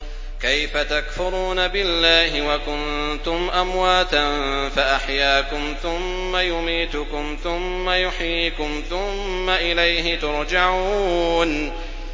كَيْفَ تَكْفُرُونَ بِاللَّهِ وَكُنتُمْ أَمْوَاتًا فَأَحْيَاكُمْ ۖ ثُمَّ يُمِيتُكُمْ ثُمَّ يُحْيِيكُمْ ثُمَّ إِلَيْهِ تُرْجَعُونَ